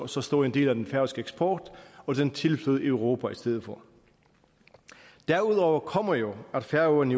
så stor en del af den færøske eksport og den tilflød europa i stedet for derudover kommer jo at færøerne